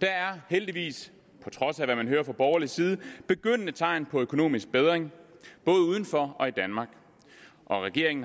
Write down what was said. der er heldigvis på trods af hvad man hører fra borgerlig side tegn på begyndende økonomisk bedring både uden for og i danmark og regeringen har